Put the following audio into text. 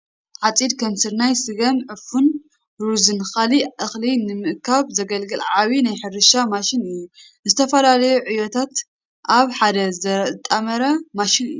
ዓፂድ ከም ስርናይ፤ ስገም ፤ዕፉን፤ ሩዝን ካልእ እኽሊ ንምእካብ ዘገልግል ዓብዪ ናይ ሕርሻ ማሽን እዩ። ንዝተፈላለዩ ዕዮታት ኣብ ሓደ ዘጣምር ማሽን እዩ።